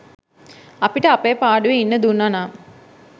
අපිට අපේ පාඩුවෙ ඉන්න දුන්නනම්